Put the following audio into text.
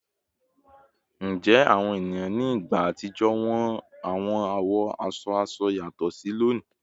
Njẹ awọn eniyan ni igba atijọ wo awọn awọ aṣọ aṣọ yatọ si loni?